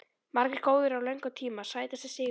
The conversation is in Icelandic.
Margir góðir á löngum tíma Sætasti sigurinn?